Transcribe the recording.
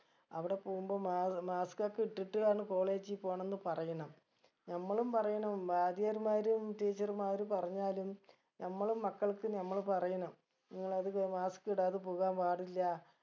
അവിടെ പോകുമ്പം മാ mask ഒക്കെ ഇട്ടിട്ട് വേണം college ഇ പോണംന്ന് പറയണം നമ്മളും പറയണം വാദ്യർമാരും teacher മാര് പറഞ്ഞാലും നമ്മളെ മക്കൾക്ക് നമ്മള് പറയണം നിങ്ങളത് അഹ് mask ഇടാതെ പോകാൻ പാടില്ല